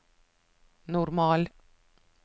normal